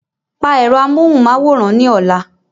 Pa ẹ̀rọ amóhùnmáwòrán ní ọ̀la.